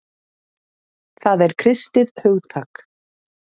Það er kristið hugtak.